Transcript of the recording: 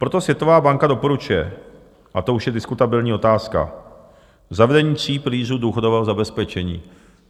Proto Světová banka doporučuje - a to už je diskutabilní otázka - zavedení tří pilířů důchodového zabezpečení.